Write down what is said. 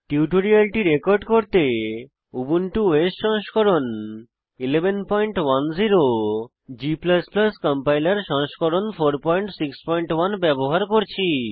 টিউটোরিয়ালটি রেকর্ড করতে Ubuntu OS সংস্করণ 1110 g কম্পাইলার সংস্করণ 461 ব্যবহার করছি